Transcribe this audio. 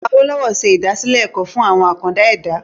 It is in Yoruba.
Awolowo se ìdásílẹ̀ ẹ̀kọ́ fún àwọn “àkàndá ẹ̀dá ".